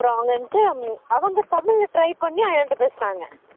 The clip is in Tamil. அப்பறம் அவங்க வந்துட்டு அவங்க தமிழ்ல try பண்ணி அயன் ட பேசுனாங்க